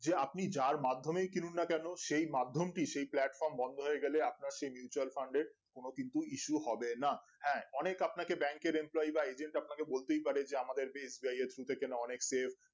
যে আপনি যার মাধ্যমে কিনুন না কেন সেই মাধ্যমটি সেই platform বন্ধ হয়ে গেলে আপনার সেই কে platform একোন কিন্তু কিছু হবে না হ্যাঁ, অনেক আপনাকে bank এর employeeja বা agent আপনাকে বলতেই পারি যে আমাদের